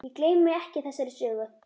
Ég gleymi ekki þessari sögu.